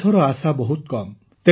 ଏଥର ଆଶା ବହୁତ କମ୍